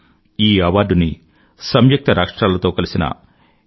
ఈ అవార్డు ని సంయుక్త రాష్ట్రాలతో కలిసిన f